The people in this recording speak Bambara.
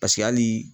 Paseke hali